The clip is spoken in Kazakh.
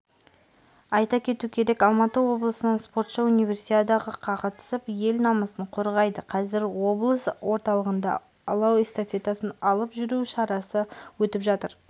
айта кету керек алматы облысынан спортшы универсиадаға қатысып ел намысын қорғайды қазір облыс орталығында алау эстафетасын алып жүру шарасы өтіп жатыр